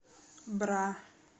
бра